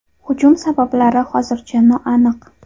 Hujum sabablari hozircha noaniq.